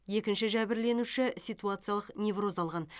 екінші жәбірленуші ситуациялық невроз алған